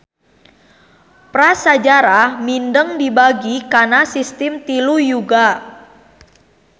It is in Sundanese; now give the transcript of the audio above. Prasajarah mindeng dibagi kana sistim tilu yuga.